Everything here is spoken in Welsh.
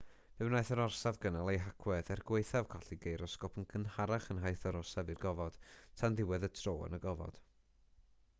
fe wnaeth yr orsaf gynnal ei hagwedd er gwaethaf colli geirosgop yn gynharach yn nhaith yr orsaf i'r gofod tan ddiwedd y tro yn y gofod